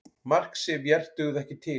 Mark Sifjar dugði ekki til